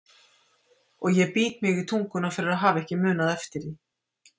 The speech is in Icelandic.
Og ég bít mig í tunguna fyrir að hafa ekki munað eftir því.